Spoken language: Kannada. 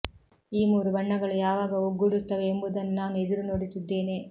ಈ ಮೂರು ಬಣ್ಣಗಳು ಯಾವಾಗ ಒಗ್ಗೂಡುತ್ತವೆ ಎಂಬುದನ್ನು ನಾನು ಎದುರು ನೋಡುತ್ತಿದ್ದೇನೆ